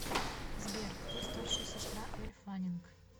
сбер кто старшая сестра эль фаннинг